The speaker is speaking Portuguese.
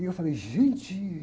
E eu falei, gente!